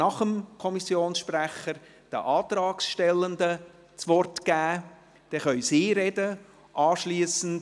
Nach dem Kommissionssprecher geben wir den Antragstellenden das Wort, damit sie sprechen können.